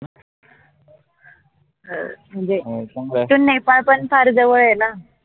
हो म्हनजे नेपाळ पन फार जवळ ए ना